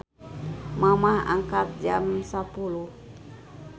Mamah angkat jam 10.00